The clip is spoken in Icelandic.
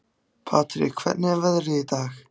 Patrek, hvernig er veðrið í dag?